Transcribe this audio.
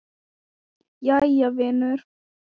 Jæja, vinur.